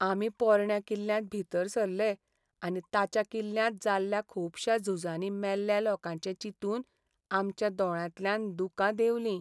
आमी पोरण्या किल्ल्यांत भितर सरले आनी ताच्या किल्ल्यांत जाल्ल्या खुबश्या झुजांनी मेल्ल्या लोकांचे चिंतून आमच्या दोळ्यांतल्यान दुकां देंवलीं.